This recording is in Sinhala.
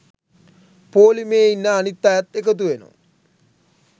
පෝලිමේ ඉන්න අනිත් අයත් එකතු වෙනවා.